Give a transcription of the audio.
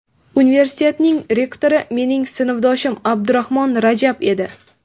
Universitetning rektori mening sinfdoshim Abdurahmon Rajab edi.